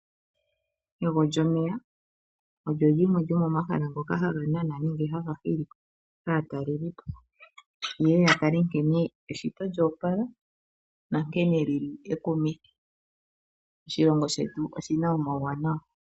Ego lyomeya, olyo limwe lyomomahala ngoka haganana nenge haga hili aatalelipo yeye yatale nkene eshito lya opala nankene lyili ekumithi. Oshilongo shetu oshina omawuwanawa.